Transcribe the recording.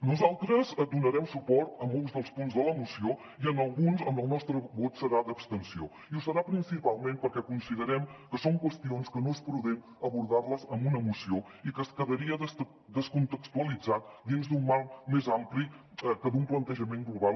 nosaltres donarem suport a molts dels punts de la moció i en alguns el nostre vot serà d’abstenció i ho serà principalment perquè considerem que són qüestions que no és prudent abordar les amb una moció i que quedarien descontextualitzades dins d’un marc més ampli que d’un plantejament global